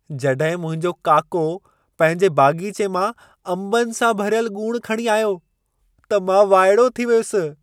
जॾहिं मुंहिंजो काको पंहिंजे बाग़ीचे मां अंबनि सां भरियल ॻूणि खणी आयो, त मां वाइड़ो थी वियुसि।